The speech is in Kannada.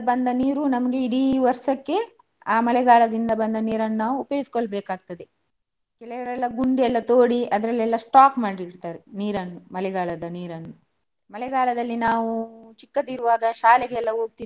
ಬಂದ ನೀರು ನಮ್ಗೆ ಇಡಿ ವರ್ಷಕ್ಕೆ ಆ ಮಳೆಗಾಲದಿಂದ ಬಂದ , ನೀರನ್ನು ನಾವು ಉಪಯೋಗಿಸಿಕೊಳ್ಳಬೇಕಾಗ್ತದೆ. ಕೆಲವರೆಲ್ಲ ಗುಂಡಿಯೆಲ್ಲ ತೋಡಿ ಅದ್ರಲ್ಲಿ stock ಮಾಡಿ ಇಡ್ತಾರೆ ನೀರನ್ನು ಮಳೆಗಾಲದ ನೀರನ್ನು. ಮಳೆಗಾಲದಲ್ಲಿ ನಾವು ಚಿಕ್ಕದಿರುವಾಗ ಶಾಲೆಗೆಲ್ಲ ಹೋಗ್ತಿದ್ದೆವು.